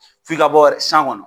F'i ka bɔ kɔnɔ.